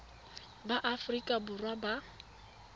ba aforika borwa ba ba